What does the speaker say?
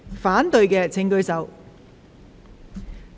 反對的請舉手。